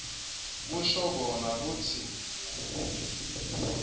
kusho kona kutsi